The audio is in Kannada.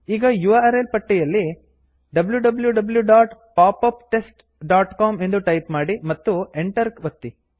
ಈಗ ಯುಆರ್ಎಲ್ ಪಟ್ಟಿಯಲ್ಲಿ wwwpopuptestcom ಎಂದು ಟೈಪ್ ಮಾಡಿ ಮತ್ತು Enter ಎಂಟರ್ ಒತ್ತಿ